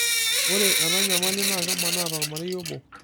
ore ena nyamali naa kemanaa tormarei obo.